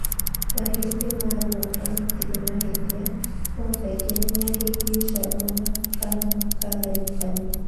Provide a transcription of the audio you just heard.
Mahĩndĩ ma guoko matirĩ mahĩtia, no kaingĩ nĩ mahĩngĩcagwo na/kana makagayũkanio.